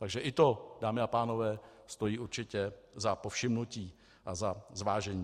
Takže i to, dámy a pánové, stojí určitě za povšimnutí a za zvážení.